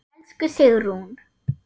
Elsku Sigrún.